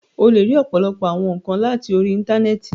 O le ri ọpọlọpọ awọn nkan lati ori Intanẹẹti